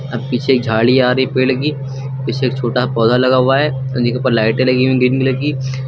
अब पीछे एक झाड़ी आ रही पेड़ की पीछे एक छोटा पौधा लगा हुआ है उसी के ऊपर लाइटें लगी हुई हैं डिम कलर की।